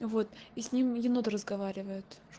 вот и сним еноты разговаривают